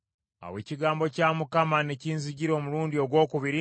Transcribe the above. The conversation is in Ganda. Awo ekigambo kya Mukama ne kinzijira omulundi ogwokubiri